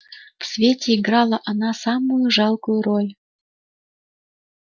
в свете играла она самую жалкую роль